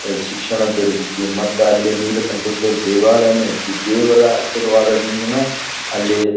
ಇಲ್ಲಿ ಶಿಕ್ಷಣ ದೊರಿತೈತಿ ಮತ್ತ ಅಲ್ಲಿ ನೀಲಕಂಠೇಶ್ವರ ದೇವಾಲಯನು ಐತಿ. ದೇವರ ಅಶೀರ್ವಾದದಿಂದನ ಅಲ್ಲಿ --